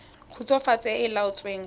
khutswafatso e e laotsweng fa